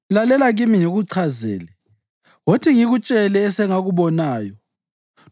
Lalela kimi ngikuchazele; wothi ngikutshele esengakubonayo,